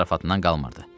Stab zarafatından qalmırdı.